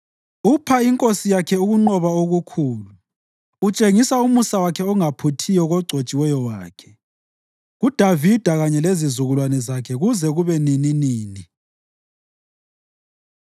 Upha inkosi yakhe ukunqoba okukhulu; utshengisa umusa wakhe ongaphuthiyo kogcotshiweyo wakhe, kuDavida kanye lezizukulwane zakhe kuze kube nininini.